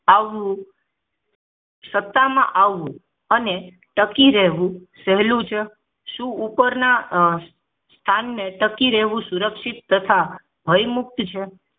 આવું સત્તામાં આવું અને ટકી રહેવું સહેલું છે શું ઉપરના સ્થાને ટકી રહેવું સુરક્ષિત તથા ભયમુક્ત છે